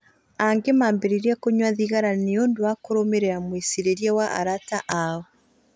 Angĩ nao maambĩrĩirie kũnyua thigara nĩ ũndũ wa kũrũmĩrĩra mwĩcirĩrie wa arata ao.